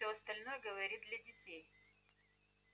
все остальное говорит для детей